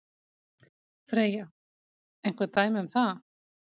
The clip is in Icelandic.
Freyja: Einhver dæmi um það?